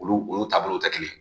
Olu olu taabolow tɛ kelen ye